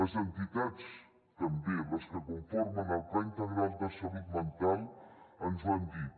les entitats també les que conformen el pla integral de salut mental ens ho han dit